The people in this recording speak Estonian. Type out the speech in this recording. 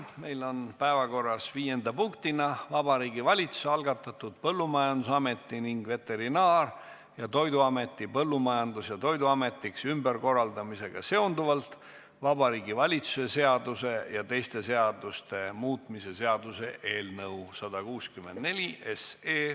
Meil on päevakorras viienda punktina Vabariigi Valitsuse algatatud Põllumajandusameti ning Veterinaar- ja Toiduameti Põllumajandus- ja Toiduametiks ümberkorraldamisega seonduvalt Vabariigi Valitsuse seaduse ja teiste seaduste muutmise seaduse eelnõu 164.